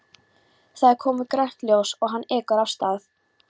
Það er komið grænt ljós og hann ekur af stað.